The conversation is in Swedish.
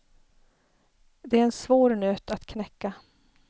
Det är en svår nöt att knäcka.